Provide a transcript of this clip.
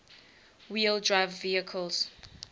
wheel drive vehicles